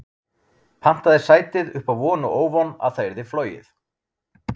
Pantaði sætið upp á von og óvon að það yrði flogið.